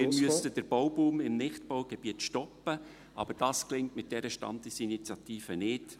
Wir müssen den Bauboom in Nichtbaugebieten stoppen, aber das gelingt mit dieser Standesinitiative nicht.